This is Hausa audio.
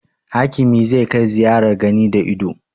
Hakimi za kai ziyarar gani da ido